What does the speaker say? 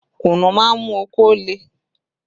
Kùnnú má ń mú okó le